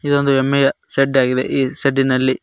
ಇದೊಂದು ಹೆಮ್ಮೆಯ ಶೆಡ್ ಆಗಿದೆ ಈ ಶೆಡ್ಡಿನಲ್ಲಿ--